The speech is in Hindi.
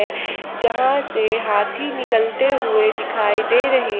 यहां से हाथी निकलते हुए दिखाई दे रहे--